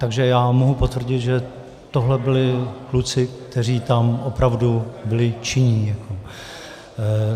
Takže já mohu potvrdit, že tohle byli kluci, kteří tam opravdu byli činní.